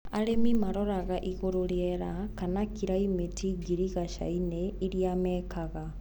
Arĩmi maroraga igũrũ rĩera kana kiraimĩti girigacainĩ ĩrĩa mekaga.